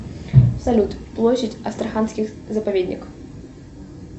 салют площадь астраханских заповедников